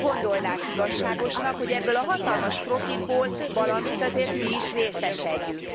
Úgy gondolnánk igazságosnak, hogy ebből a hatalmas profitból valamennzire azért mi is részesedjünk.